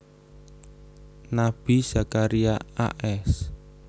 Nabi Zakaria a s